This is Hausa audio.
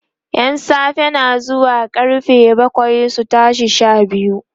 ƴan safe na zuwa karfe bakwai su tashi Sha biyu